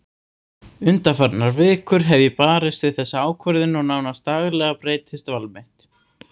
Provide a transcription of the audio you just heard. Undanfarnar vikur hef ég barist við þessa ákvörðun og nánast daglega breytist val mitt.